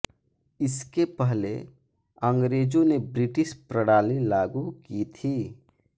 इसके पहले अंग्रेजों ने ब्रिटिश प्रणाली लागू की थी